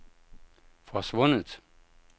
forsvundet